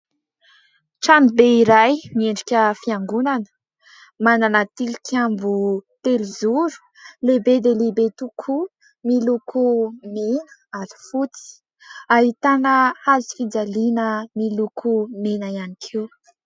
Tranobe iray miendrika fiangonana, manana tilikambo telozoro lehibe dia lehibe tokoa miloko mena ary fotsy. Ahitana hazofijaliana miloko mena ihany koa.